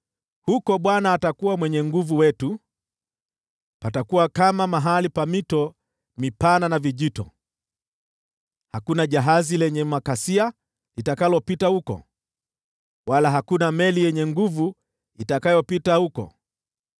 Huko Bwana atakuwa Mwenye Nguvu wetu. Patakuwa kama mahali pa mito mipana na vijito. Hakuna jahazi lenye makasia litakalopita huko, wala hakuna meli yenye nguvu itakayopita huko.